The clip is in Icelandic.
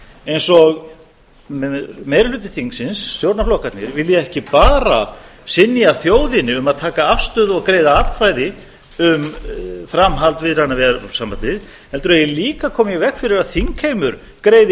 eins og meiri hluti þingsins stjórnarflokkarnir vilji ekki bara synja þjóðinni um að taka afstöðu og greiða atkvæði um framhald viðræðna við evrópusambandið heldur eigi líka að koma í veg fyrir að þingheimur greiði